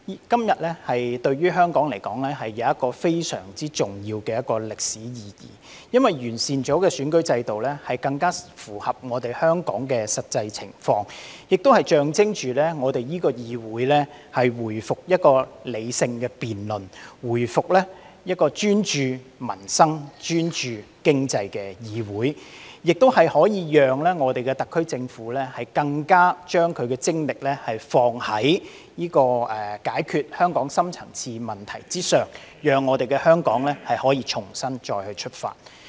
今天對於香港來說有着非常重要的歷史意義，因為完善了的選舉制度將更符合香港的實際情況，亦象徵我們的議會回復理性辯論，回復為專注民生、專注經濟的議會，亦可令香港特區政府的精力投放在解決香港深層次問題之上，讓香港可以重新出發。